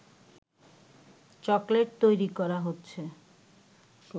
chocolate তৈরি করা হচ্ছে